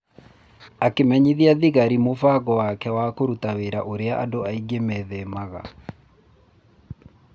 Akĩmenyithia thigari mũvango wake wa kũruta wĩra ũrĩa andũ aingĩ methemaga.